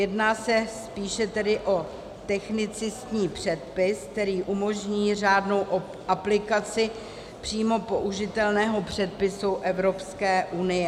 Jedná se spíše tedy o technicistní předpis, který umožní řádnou aplikaci přímo použitelného předpisu Evropské unie.